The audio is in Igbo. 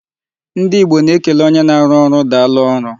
Ndị Igbo na-ekele onye na-arụ ọrụ daalụ ọrụ.